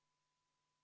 Kümme minutit vaheaega.